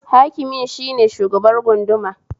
Hakimin shine shugabar gunduma